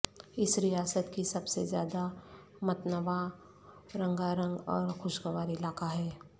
اس ریاست کی سب سے زیادہ متنوع رنگارنگ اور خوشگوار علاقہ ہے